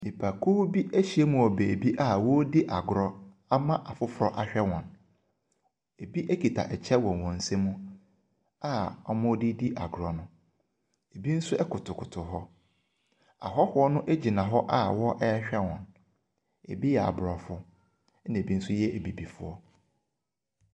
Nnipakuo bi ahyiam wɔ baabi a wɔredi agorɔ ama afoforɔ ahwɛ wɔn, ebi kita kyɛ wɔ wɔn nsam a wɔde redi agorɔ no. ebi nso kotokoto hɔ. Ahɔhoɔ no gyina hɔ a wɔrehwɛ wɔn. Ebi yɛ aborɔfo, ɛnna ebi nso yɛ abibifoɔ.